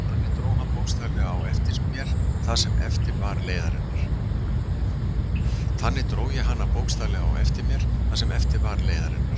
Þannig dró ég hana bókstaflega á eftir mér það sem eftir var leiðarinnar.